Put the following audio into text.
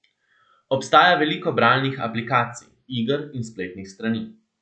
Obstaja veliko bralnih aplikacij, iger in spletnih strani.